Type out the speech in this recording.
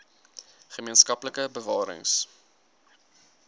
gemeen skaplike bewarings